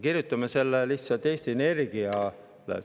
Kirjutame selle lihtsalt Eesti Energiale.